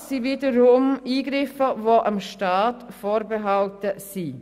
Das sind wiederum Eingriffe, die dem Staat vorbehalten sind.